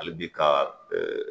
Hali bi ka